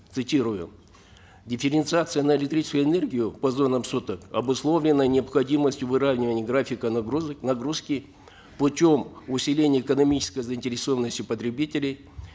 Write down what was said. цитирую дифференциация на электрическую энергию по зонам суток обусловлена необходимостью выравнивания графика нагрузок нагрузки путем усиления экономической заинтересованности потребителей